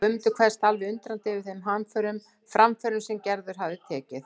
Guðmundur kveðst alveg undrandi yfir þeim framförum sem Gerður hafi tekið.